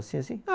Assim, assim?